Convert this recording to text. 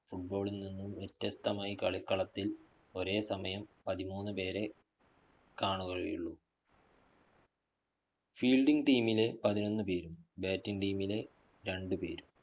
Football ല്‍ നിന്നും വ്യത്യസ്തമായി കളികളത്തില്‍ ഒരേ സമയം പതിമൂന്നുപേരെ കാണുകയുള്ളൂ. fielding team ലെ പതിനൊന്നുപേരും batting team ലെ രണ്ടുപേരും.